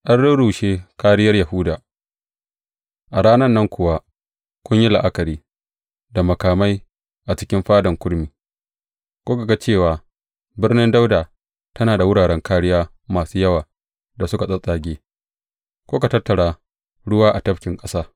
An rurrushe kāriyar Yahuda, a ranan nan kuwa kun yi la’akari da makamai a cikin Fadan Kurmi; kuka ga cewa Birnin Dawuda tana da wuraren kāriya masu yawa da suka tsattsage; kuka tattara ruwa a Tafkin Ƙasa.